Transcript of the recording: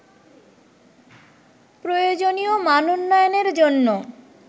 প্রয়োজনীয় মানোন্নয়নের জন্য